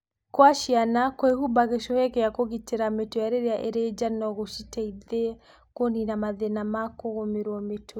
Kwa ciana, kwĩhumba gĩcũhĩ gĩa kũgitĩra mũtwe rĩrĩa irĩ nja no gũciteithie kũniina mathĩna ma kũgũmĩrũo mũtwe.